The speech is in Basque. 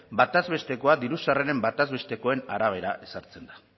bataz bestekoa diru sarreren bataz bestekoen arabera ezartzen da